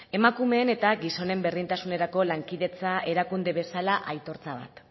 emakumeen eta gizonen berdintasunerako lankidetza erakunde bezala aitortza bat